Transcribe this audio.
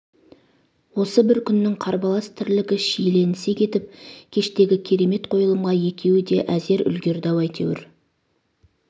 осы бір күннің қарбалас тірлігі шиелінісе кетіп кештегі керемет қойылымға екеуі де әзер үлгерді-ау әйтеуір